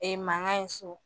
mankan ye so